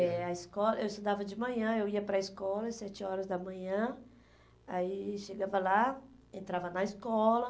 É, a esco, eu estudava de manhã, eu ia para a escola às sete horas da manhã, aí chegava lá, entrava na escola.